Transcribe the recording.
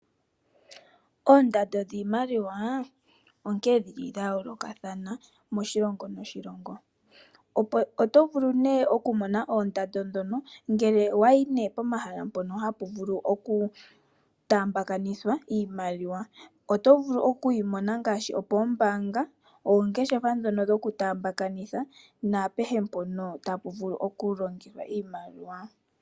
Oondando dhiimaliwa onkee dhili dha yoolokathana moshilongo noshilongo , oto vulu nee oku mona oondando dhono ngele owayi nee pomahala mpono hapu vulu oku taambakanithwa iimaliwa , oto vulu okuyi mona ngaashi opoombaanga, ongeshefa dhono dhoku taambakanithwa naapehe mpono tapu vulu oku longelwa iimaliwa.